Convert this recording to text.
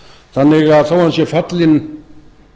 þannig að þó hann sé fallinn